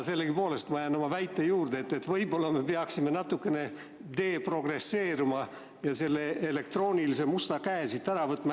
Sellegipoolest ma jään oma väite juurde, et võib-olla me peaksime natukene deprogresseeruma ja selle elektroonilise musta käe siit ära võtma.